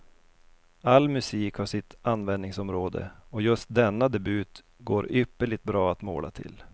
All musik har sitt användningsområde och just denna debut går ypperligt bra att måla till.